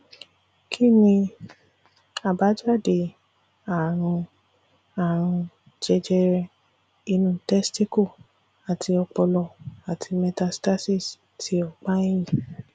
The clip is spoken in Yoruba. kí ni àbájáde àrùn àrùn jẹjẹrẹ inú testicle àti opolo ati metastasis ti opa eyin